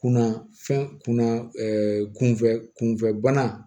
Kunna fɛn kuna ɛ kunfɛ kunfɛ bana